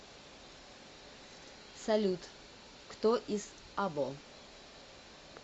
салют кто из або